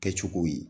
Kɛcogow ye